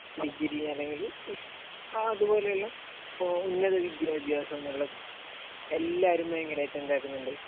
degree അല്ലെങ്കിൽ അതുപോലുള്ള ഉന്നതവിദ്യാഭ്യാസം ഇപ്പോൾ എല്ലാവരും ഭയങ്കരമായിട്ട് എന്താക്കുന്നുണ്ട്